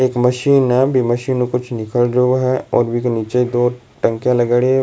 एक मशीन है बी मशीन में कुछ निकल रियो है और बीके नीचे दो टंकियां लगायोडी।